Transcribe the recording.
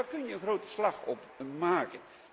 Daar kun je een grote slag op maken.